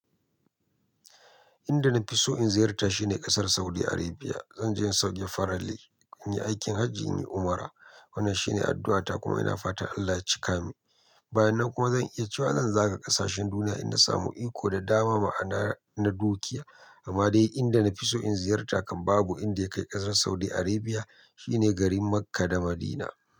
Inda na fi so in ziyarta shine ƙasar Saudi Arabia. Zan je in sauke faralli, in yi aikin hajji in yi umra. Wannan shine addu'ata kuma ina fatan Allah ya cika min. Bayan nan kuma zan iya cewa zan zaga ƙasashen duniya idan na samu iko da dama ma'ana na dukiya. Amma dai inda na fi so in ziyarta kan babu inda ya kai ƙasar Saudi Arabia shine garin Makkah da Madinah.